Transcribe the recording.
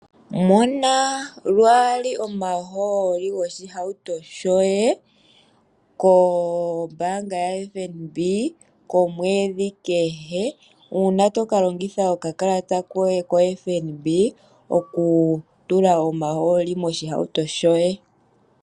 Mona lwaali omahooli goshihauto shoye kombaanga yaFNB komwedhi kehe, uuna to ka longitha okakalata koye koFNB okutula omahooli moshihauto shoye.